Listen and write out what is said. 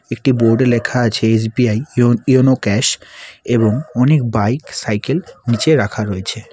একটি বোর্ড -এ লেখা আছে এস_বি_আই ইওন ইউনো ক্যাশ এবং অনেক বাইক সাইকেল নীচে রাখা রয়েছে।